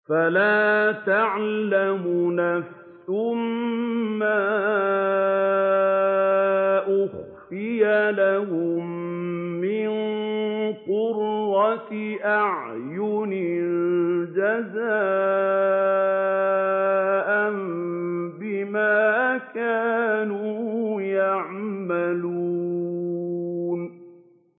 فَلَا تَعْلَمُ نَفْسٌ مَّا أُخْفِيَ لَهُم مِّن قُرَّةِ أَعْيُنٍ جَزَاءً بِمَا كَانُوا يَعْمَلُونَ